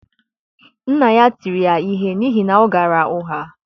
nna ya tiri ya ihe n’ihi na ọ ghaara ụgha.